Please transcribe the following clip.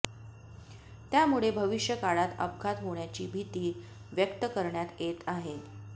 त्यामुळे भविष्यकाळात अपघात होण्याची भीती व्यक्त करण्यात येत आहे